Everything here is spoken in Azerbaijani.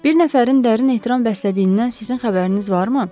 Bir nəfərin dərin ehtiram bəslədiyindən sizin xəbəriniz varmı?